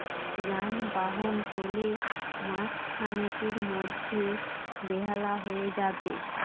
যানবাহন চলে মাসখানেকের মধ্যে বেহালা হয়ে যাবে